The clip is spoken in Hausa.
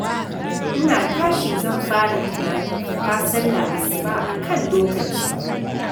Ina tashi zan fara tunanin fita sallar Asuba a kan lokaci.